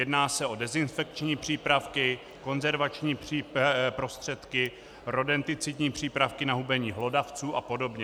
Jedná se o dezinfekční přípravky, konzervační prostředky, rodenticidní přípravky na hubení hlodavců a podobně.